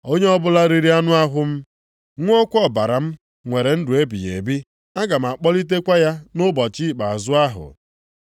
Onye ọbụla riri anụ ahụ m, ṅụọkwa ọbara m nwere ndụ ebighị ebi. A ga m akpọlitekwa ya nʼụbọchị ikpeazụ ahụ.